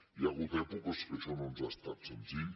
hi ha hagut èpoques que això no ens ha estat senzill